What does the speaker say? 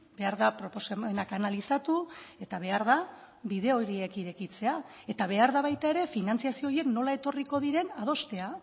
behar da proposamenak analizatu eta behar da bide horiek irekitzea eta behar da baita ere finantzazio horiek nola etorriko diren adostea